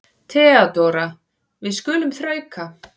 THEODÓRA: Við skulum þrauka.